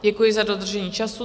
Děkuji za dodržení času.